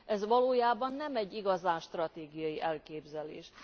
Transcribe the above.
Ez valójában nem egy igazán stratégiai elképzelés.